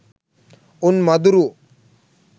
උන් මදුරුවෝ